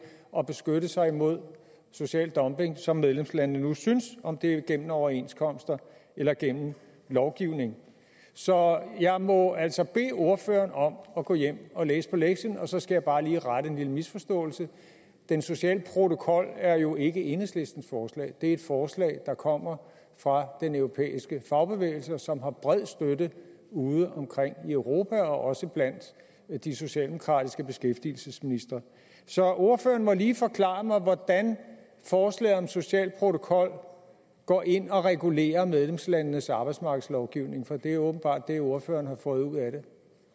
at beskytte sig mod social dumping som medlemslandene nu synes om det er gennem overenskomster eller gennem lovgivning så jeg må altså bede ordføreren om at gå hjem og læse på lektien så skal jeg bare lige rette en lille misforståelse den sociale protokol er jo ikke enhedslistens forslag det er et forslag der kommer fra den europæiske fagbevægelse og som har bred støtte udeomkring i europa og også blandt de socialdemokratiske beskæftigelsesministre så ordføreren må lige forklare mig hvordan forslaget om social protokol går ind og regulerer medlemslandenes arbejdsmarkedslovgivning for det er åbenbart det ordføreren har fået ud af det